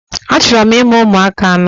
Achọrọ m imụ ụmụaka anọ